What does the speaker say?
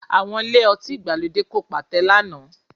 Àwọn ilé-ọtí ìgbàlódé kò pàtẹ lánàá